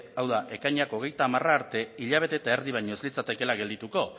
hau da ekainak hogeita hamar arte hilabete eta erdi baino ez litzatekeela geldituko